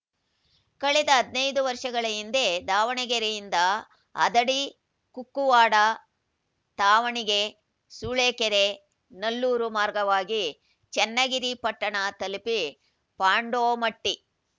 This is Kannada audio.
ಕಳೆದ ಹದಿನೈದು ವರ್ಷಗಳ ಹಿಂದೆ ದಾವಣಗೆರೆಯಿಂದ ಹದಡಿ ಕುಕ್ಕುವಾಡ ತ್ಯಾವಣಿಗೆ ಸೂಳೆಕೆರೆ ನಲ್ಲೂರು ಮಾರ್ಗವಾಗಿ ಚನ್ನಗಿರಿ ಪಟ್ಟಣ ತಲುಪಿ ಪಾಂಡೋಮಟ್ಟಿ